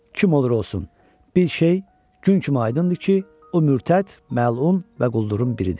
Kim olur olsun, bir şey gün kimi aydındır ki, o mürtəd, məlun və quldurun biridir.